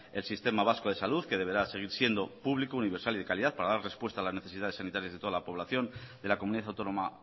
el sistema vasco de salud que deberá seguir siendo público universal y de calidad para dar respuesta a las necesidades sanitarias de toda la población de la comunidad autónoma